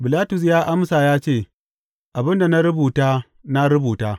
Bilatus ya amsa ya ce, Abin da na rubuta, na rubuta.